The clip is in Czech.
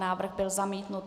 Návrh byl zamítnut.